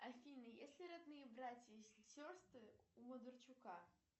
афина есть ли родные братья и сестры у бондарчука